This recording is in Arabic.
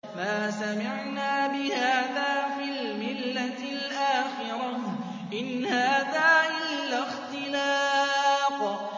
مَا سَمِعْنَا بِهَٰذَا فِي الْمِلَّةِ الْآخِرَةِ إِنْ هَٰذَا إِلَّا اخْتِلَاقٌ